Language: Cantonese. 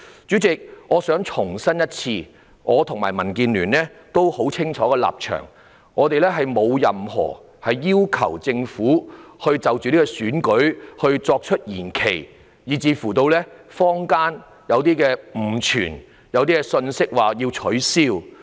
主席，我想重申，我和民主建港協進聯盟的立場十分清晰，我們並沒有要求政府就着這次選舉作出延期，這說法導致坊間流言四起，指政府有可能取消選舉。